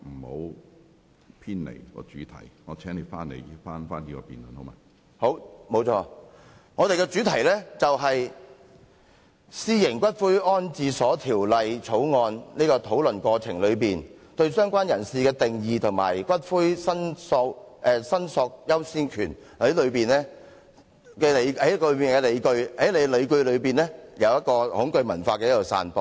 好的，沒錯，我們的主題是《私營骨灰安置所條例草案》，討論"相關人士"的定義和骨灰申索的優先權過程中提出的理據，便是恐懼文化的散播。